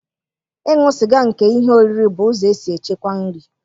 Ịṅụ sịga nke ihe oriri bụ ụzọ e si echekwa nri.